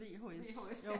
VHS ja